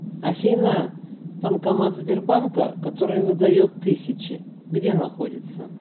афина банкомат сбербанка который выдает тысячи где находится